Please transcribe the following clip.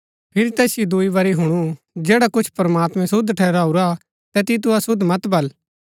फिरी तैसिओ दूई बरी हुणु जैडा कुछ प्रमात्मैं शुद्ध ठहराऊरा तैतिओ तु अशुद्ध मत बल